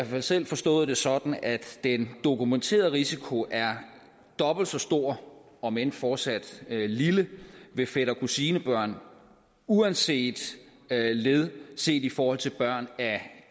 fald selv forstået det sådan at den dokumenterede risiko er dobbelt så stor om end fortsat lille ved fætter kusine børn uanset led set i forhold til børn af